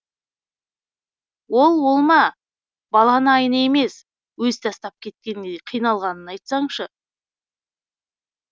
ол ол ма баланы айна емес өзі тастап кеткендей қиналғанын айтсаңшы